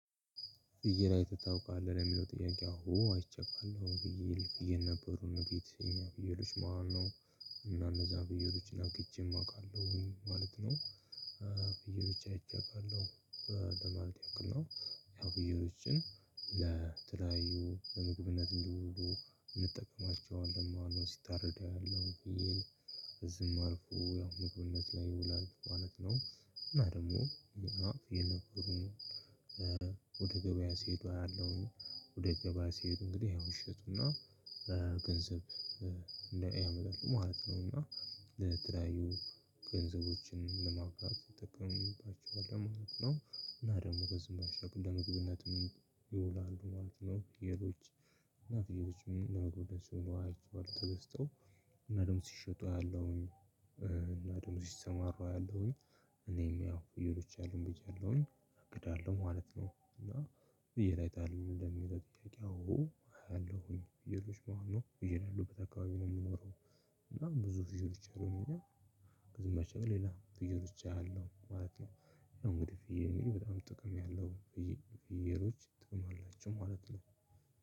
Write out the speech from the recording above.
"ፍየል አይተህ ታውቃለህ?" ለሚለው ጥያቄ አዎ አይቼ አውቃለሁ። ፍየል ፍየል ነበሩን ቤት እኛ ፍየሎች መሃል ነው እና እነዛን ፍየሎች አግጄም አውቃለሁኝ ማለት ነው። ፍየሎች አይቼ አውቃለሁ ለማለት ያክል ነው። ያው ፍየሎችን ለተለያዩ ለምግብነት እንዲውሉ እንጠቀማቸዋለን ማለት ነው ሲታረዱ ያለው ፍየል ከዚህም አልፎ ያው ምግብነት ላይ ይውላል ማለት ነው፤ እና ደግሞ ፍየል ነበሩን ወደ ገበያ ሲሄዱ አያለውኝ። ወደ ገበያ ሲሄዱ እንግዲህ ያው ይሸጡና ገንዘብ እንደ ያመጣሉ ማለት ነው እና ለተለያዩ ገንዘቦችን ለማምጣት እንጠቀምባቸዋል ማለት ነው እና ደግሞ ከዚህም ባሻገር ለምግብነትም ይውላሉ ማለት ነው። ፍየሎች እናት አይነት ሰው ነው የሚሆነው ተገስተው እና ድም ሲሸጡ አያለሁኝ እና ድግሞ ሲሰማሩ አያለውኝ እኔም ያው ፍየሎች አሉኝ ብያለሁኝ እቅድ አለው ማለት ነው እና "ፍየል አይተሃል ወይ?" ለሚለው ጥያቄ አዎ አያለሁኝ። ፍየሎች ማለት ነው ላፍየል ያለበት አካባቢ ነው የምኖረው እና ብዙ ፍየሎች አሉን እኛ ከዚህም ባሻገር ሌላ ፍየሎች አያለው ማለት ነው። ያው እንግዲህ በጣም ጥቅም ያለው ፍየሎች ጥቅም አላቸው ማለት ነው።